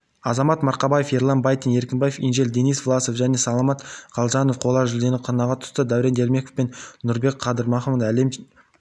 азамат марқабаев ерлан байтин еркінбек инжель денис власов пен саламат қалжанов қола жүлдені қанағат тұтса дәурен ермеков пен нұрбек қабдырахманов әлем